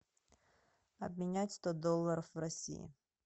обменять сто долларов в россии